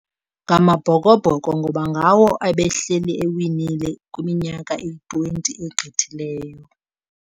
NgamaBhokobBhoko ngoba ngawo ebehleli ewinile kwiminyaka eyi-twenty egqithileyo.